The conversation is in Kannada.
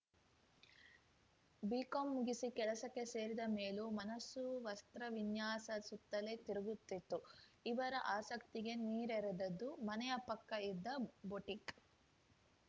ಬಿಕಾಂ ಮುಗಿಸಿ ಕೆಲಸಕ್ಕೆ ಸೇರಿದ ಮೇಲೂ ಮನಸ್ಸು ವಸ್ತ್ರ ವಿನ್ಯಾಸದ ಸುತ್ತಲೇ ತಿರುತ್ತಿತ್ತು ಇವರ ಆಸಕ್ತಿಗೆ ನೀರೆರೆದದ್ದು ಮನೆಯ ಪಕ್ಕ ಇದ್ದ ಬೊಟಿಕ್‌